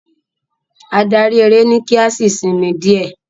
Adarí eré ni ki a sì sinmi diẹ.